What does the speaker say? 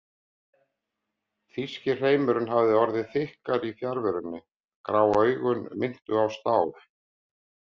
Þýski hreimurinn hafði orðið þykkari í fjarverunni, grá augun minntu á stál.